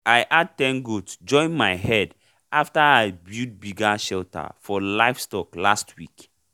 i add ten goat join my herd after i build bigger shelter for livestock last week